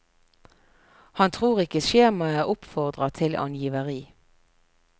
Han tror ikke skjemaet oppfordrer til angiveri.